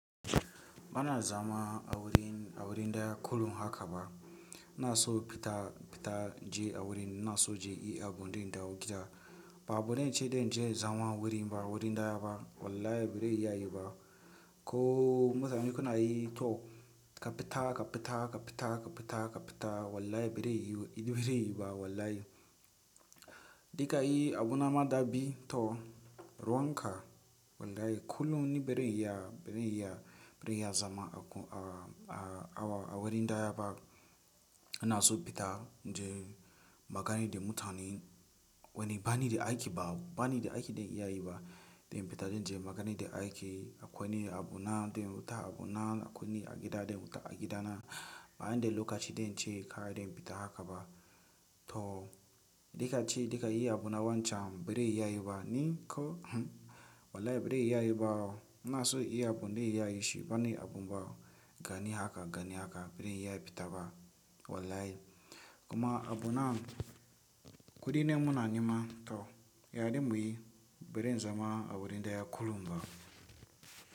Ana zama a wurin, a wurin ɗaya kurum haka ba. Na so fita, fita je a wurin, ina so je iyi abu ɗin in dawo gida. Ba abu dai ce dai je zama wurin ba, wurin daya ba. Wallahi bari iya yi ba. Ko mutane kuna yi to ka fita, ka fita, ka fita, ka fita, ka fita wallahi bari yu ba ba zai yi ba, wallahi. Dika yi abuna ma da bi to ron ka wallahi kullum ni bari iya, bari iya, bari iya zama a wurin daya ba. Na so fita je magani da mutane wani bani da aiki ba, bani da aiki dai iya yi ba. Dai fita dai je magani da aiki a akwai abu na dai wuta abuna a kwanin agida dai wuta agida na. Ba yanda lokaci dai ce in ce kai dan fita haka ba. To dika ce dika yi abuna wancan bari iya yi ba. Ni ko, wallahi bari iya yi ba. Na so iya abunda iya yi shi wani abu ba, gani haka, gani haka bari iya fita ba, wallahi. Kuma abuna, kuɗi ne muna nema to ya dai muyi bari in zama a wurin daya kurum ba.